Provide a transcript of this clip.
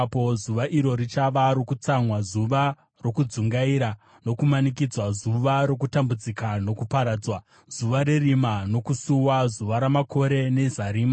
Zuva iro richava rokutsamwa, zuva rokudzungaira nokumanikidzwa, zuva rokutambudzika nokuparadzwa, zuva rerima nokusuwa, zuva ramakore nezarima.